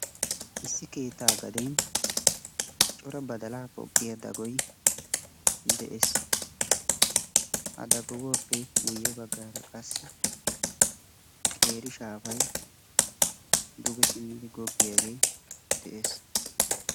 Issi keettaa gaden cora badalaa poqqiyaa dagoy de'ees. Ha daguwappe guyye baggaara qassi qeeri shaafay duge simmidi goggiyaagee de'ees.